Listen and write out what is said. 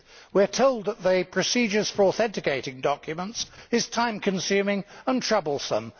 We are told that the procedure for authenticating documents is time consuming and troublesome.